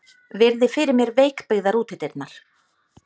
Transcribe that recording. Virði fyrir mér veikbyggðar útidyrnar.